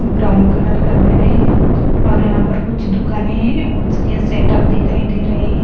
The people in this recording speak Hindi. ब्राउन कलर का बेड है और यहां पर कुछ दुकानें है उसके सेटअप दिखाई दे रहे है।